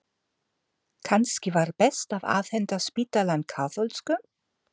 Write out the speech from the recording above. Kannski var best að afhenda spítalann kaþólskum?